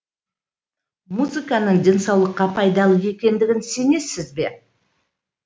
музыканың денсаулыққа пайдалы екендігіне сенесіз бе